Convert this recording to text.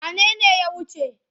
Wane ne ya wuce?